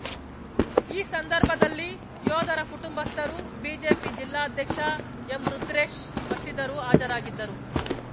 ಈ ಸಂದರ್ಭದಲ್ಲಿ ಯೋಧರ ಕುಟುಂಬಸ್ಥರು ಬಿಜೆಪಿ ಜಿಲ್ಲಾಧ್ಯಕ್ಷ ಎಂರುದ್ರೇಶ್‌ ಮತ್ತಿತರು ಹಾಜರಾಗಿದ್ದರು